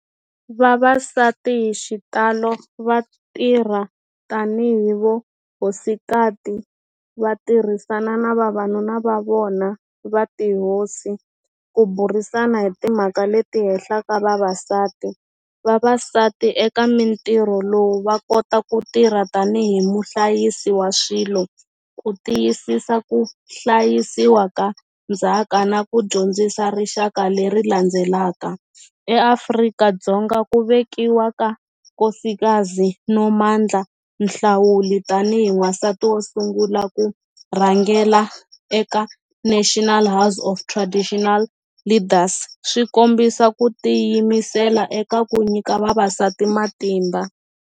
Vavasati hi xitalo va tirha tanihi vo hosikati va tirhisana na vavanuna va vona va tihosi ku burisana hi timhaka leti hehlaka vavasati, vavasati eka mintirho lowu va kota ku tirha tanihi muhlayisi wa swilo ku tiyisisa ku hlayisiwa ka ndzhaka na ku dyondzisa rixaka leri landzelaka, eAfrika-Dzonga ku vekiwa ka nkosikazi Nomandla Nhlawuli tanihi n'wansati wo sungula ku rhangela eka National House of Traditional Leaders swi kombisa ku tiyimisela eka ku nyika vavasati matimba.